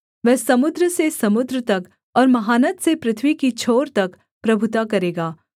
वह समुद्र से समुद्र तक और महानद से पृथ्वी की छोर तक प्रभुता करेगा